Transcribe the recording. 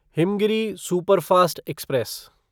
Himgiri superfast express